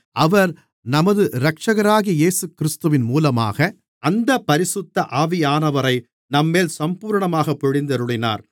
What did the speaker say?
அவர் நமது இரட்சகராகிய இயேசுகிறிஸ்துவின் மூலமாக அந்தப் பரிசுத்த ஆவியானவரை நம்மேல் சம்பூரணமாகப் பொழிந்தருளினார்